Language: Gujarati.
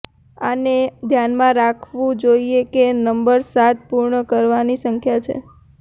આને ધ્યાનમાં રાખવું જોઈએ કે નંબર સાત પૂર્ણ કરવાની સંખ્યા છે